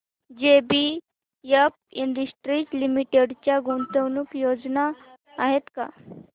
JBF industries limited च्या गुंतवणूक योजना आहेत का